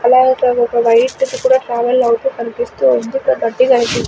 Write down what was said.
అలాగే ఇక్కడ ఒక వైట్ ది కూడా ట్రావెల్ అవుతూ కనిపిస్తూ ఉంది కనీ .